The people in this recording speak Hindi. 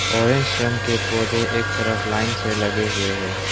ऑरेंज रंग के पौधे एक तरफ लाइन से लगे हुए है।